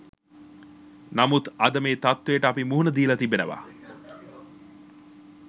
නමුත් අද මේ තත්ත්වයට අපි මුහුණ දීලා තිබෙනවා.